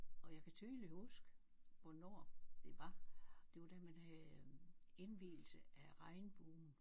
Og jeg kan tydeligt huske hvornår det var. Det var da man havde øh indvielse af regnbuen